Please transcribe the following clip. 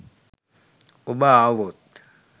ඔබ ආවොත්